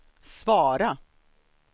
svara